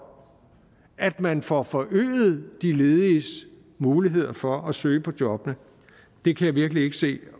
at man får forøget de lediges muligheder for at søge på jobbene det kan jeg virkelig ikke se